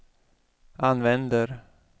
använder